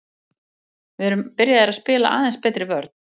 Við erum byrjaðir að spila aðeins betri vörn.